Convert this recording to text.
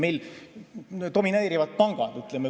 Meil domineerivad pangad.